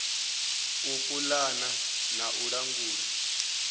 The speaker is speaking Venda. u pulana na u langula